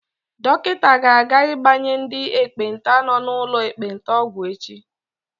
Dọkịta ga-aga ịgbanye ndị ekpenta nọ n'ụlọ ekpenta ọgwụ echi.